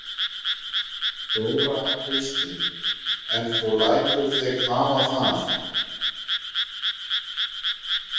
Þóra Kristín: En þú lætur þig hafa það?